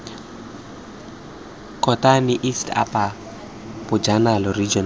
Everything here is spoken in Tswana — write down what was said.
kotane east apo bojanala region